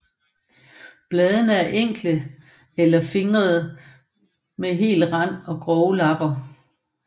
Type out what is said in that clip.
Bladene er enkle eller fingrede med hel rand eller grove lapper